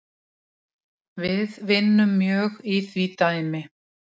Við vinnum mjög í því dæmi